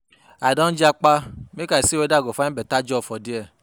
I don japa make I see weda I go find beta job for there.